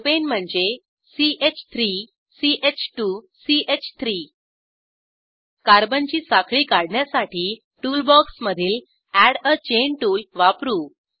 propane म्हणजे ch3 ch2 च3 कार्बनची साखळी काढण्यासाठी टुल बॉक्समधील एड आ चैन टुल वापरू